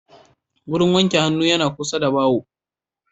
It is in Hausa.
Wurin wanke hannu yana kusa da baho